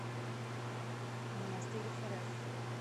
монастыреврф